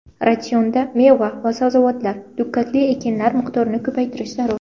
Ratsionda meva va sabzavotlar, dukkakli ekinlar miqdorini ko‘paytirish zarur.